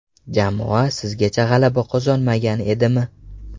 Jamoa sizgacha g‘alaba qozonmagan edimi?